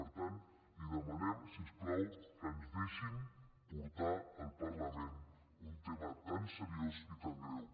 per tant els demanem si us plau que ens deixin portar al parlament un tema tan seriós i tan greu